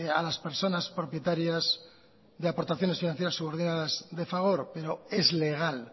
a las personas propietarias de aportaciones financieras subordinadas de fagor pero es legal